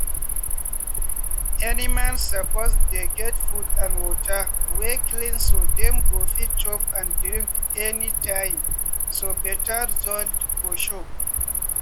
animals suppose dey get food and water wey clean so dem go fit chop and drink anytimeso better result go show.